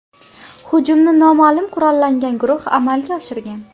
Hujumni noma’lum qurollangan guruh amalga oshirgan.